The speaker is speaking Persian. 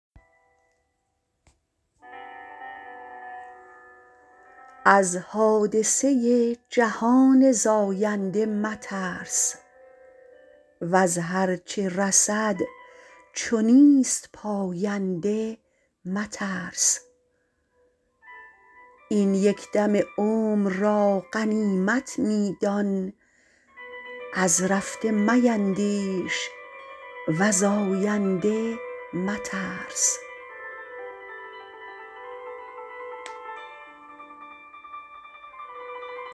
از حادثه جهان زاینده مترس وز هرچه رسد چو نیست پاینده مترس این یکدم عمر را غنیمت میدان از رفته میندیش وز آینده مترس